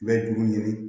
U bɛ juru ɲini